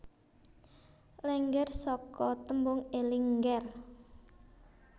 Lénggér saka tembung eling ngger